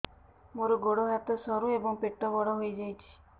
ମୋର ଗୋଡ ହାତ ସରୁ ଏବଂ ପେଟ ବଡ଼ ହୋଇଯାଇଛି